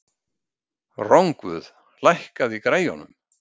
Rongvuð, lækkaðu í græjunum.